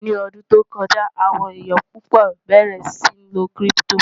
ní ọdún tó kọjá, àwọn èyán púpò bẹrẹ sí ní ló kírìpitò